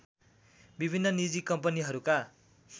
विभिन्न निजी कम्पनीहरूका